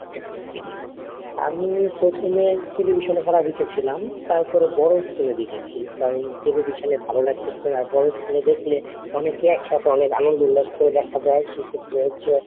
আমি প্রথমে television এ খেলা দেখেছিলাম, তারপরে বড় screen এ দেখেছি কারণ television এ ভালো লাগতেছিল না আর বড় screen এ দেখলে অনেকেই একসাথে অনেক আনন্দ উল্লাস করে দেখা যায়. সেক্ষেত্রে হচ্ছে,